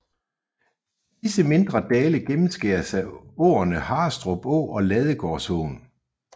Disse mindre dale gennemskæres af åerne Harrestrup Å og Ladegårdsåen